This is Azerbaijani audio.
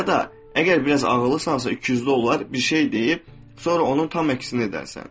Ya da əgər biraz ağıllısansa, ikiyüzlü olar, bir şey deyib, sonra onun tam əksini edərsən.